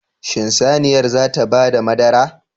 Shin saniyar zata bada madara?